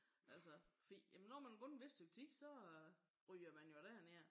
Altså fordi jamen når man har gået et vist stykke tid så ryger man jo derned